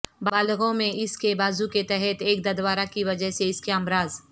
بالغوں میں اس کے بازو کے تحت ایک ددورا کی وجہ سے اس کے امراض